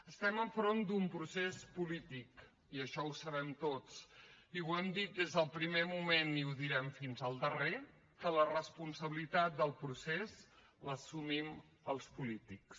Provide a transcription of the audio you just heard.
estem davant d’un procés polític això ho sabem tots i hem dit des del primer moment i direm fins al darrer que la responsabilitat del procés l’assumim els polítics